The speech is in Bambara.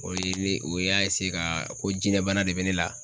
O ye ne, o y'a ka ko jinɛbana de be ne la.